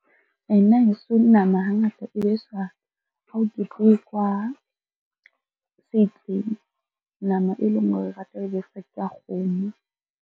Nna heso nama hangata e beswa ha ho ketekwa se itseng. Nama e leng hore re rata ho e besa ke ya kgomo.